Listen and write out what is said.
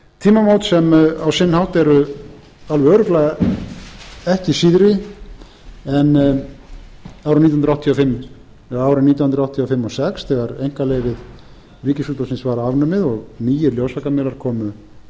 tímamót sem á sinn hátt eru alveg örugglega ekki síðri en árin nítján hundruð áttatíu og fimm til sex þegar einkaleyfi ríkisútvarpsins var afnumið og nýir ljósvakamiðlar komu fram þessi tímamót eru